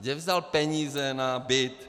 Kde vzal peníze na byt.